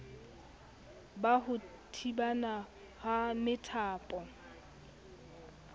ba ho thibana ha methapo